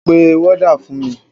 Pe wọ́dà fún mi!